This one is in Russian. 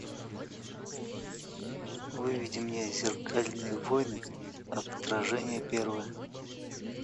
выведи мне зеркальные войны отражение первое